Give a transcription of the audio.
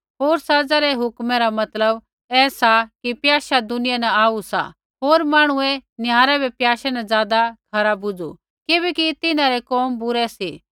होर सज़ा री हुक्कमे रा मतलव ऐसा कि प्याशा दुनिया न आऊ सा होर मांहणुऐ निहारै बै प्याशे न ज़ादा खरा बुझू किबैकि तिन्हां रै कोम बुरै सी